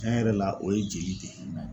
Tiɲɛ yɛrɛ la o ye jeli de ye.